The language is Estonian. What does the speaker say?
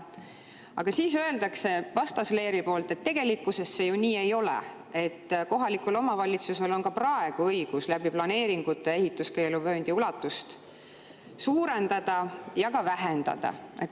Aga siis öeldakse vastasleeri poolt, et tegelikkuses see ju nii ei ole, et kohalikul omavalitsusel on ka praegu õigus läbi planeeringute ehituskeeluvööndi ulatust suurendada ja ka vähendada.